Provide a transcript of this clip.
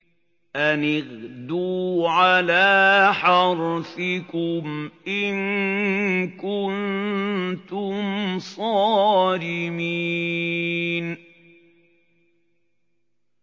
أَنِ اغْدُوا عَلَىٰ حَرْثِكُمْ إِن كُنتُمْ صَارِمِينَ